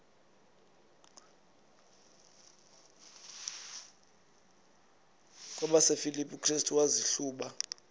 kwabasefilipi restu wazihluba